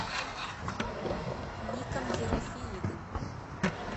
ником ерофеевым